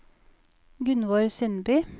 Gunvor Sundby